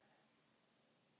Það þarf traust.